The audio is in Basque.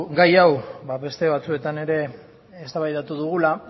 gai hau beste batzuetan ere eztabaidatu dugula